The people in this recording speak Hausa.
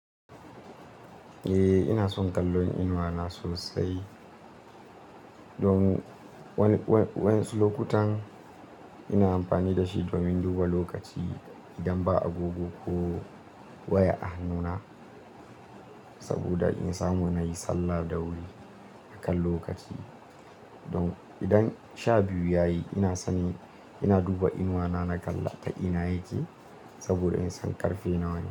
Eh, ina son kallon inuwata sosai. Domin wayansu lokutan ina amfani da shi domin duba lokaci idan ba agogo ko waya ah hannuna. Saboda in samu na yi sallah da wuri akan lokaci. Domin idan sha biyu ta yi ina sani ina duba inuwata, na kalla ta ina take saboda in san ƙarfe nawa ne.